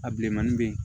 A bilenman bɛ yen